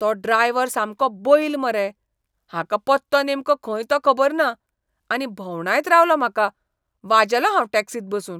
तो ड्रायव्हर सामको बैल मरे. हाका पत्तो नेमको खंय तो खबर ना, आनी भोंवडायत रावलो म्हाका. वाजेलो हांव टॅक्सींत बसून.